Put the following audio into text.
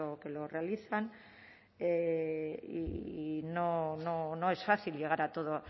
que lo realizan y no es fácil llegar a toda